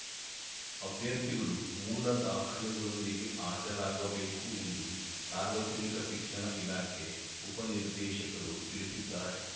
ಅಭ್ಯರ್ಥಿಗಳು ಮೂಲ ದಾಖಲೆಗಳೊಂದಿಗೆ ಹಾಜರಾಗಬೇಕು ಎಂದು ಸಾರ್ವಜನಿಕ ಶಿಕ್ಷಣ ಇಲಾಖೆ ಉಪನಿರ್ದೇಶಕರು ತಿಳಿಸಿದ್ದಾರೆ